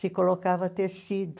Se colocava tecido.